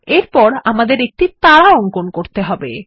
এরপর আমাদেরকে একটি তারা অঙ্কন করতে হবে